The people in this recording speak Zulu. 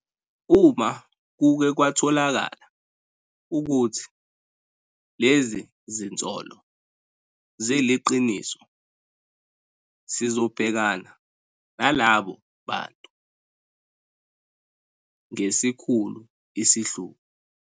Uma kuke kwatholakala ukuthi lezi zinsolo ziliqiniso sizobhekana nalabo bantu ngesikhulu isihluku.